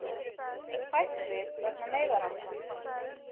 Hætt við vegna neyðarástands